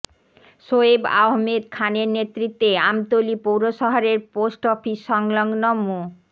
সোয়েব আহমেদ খানের নেতৃত্বে আমতলী পৌরশহরের পোস্ট অফিস সংলগ্ন মো